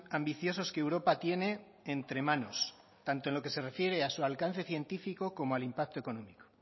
ambiciosos que europa tiene entre manos tanto en lo que se refiere a su alcance científico como al impacto económico